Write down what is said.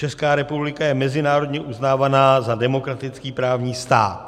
Česká republika je mezinárodně uznávaná za demokratický právní stát.